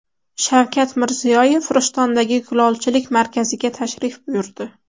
Shavkat Mirziyoyev Rishtondagi kulolchilik markaziga tashrif buyurdi.